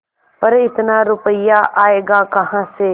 पर इतना रुपया आयेगा कहाँ से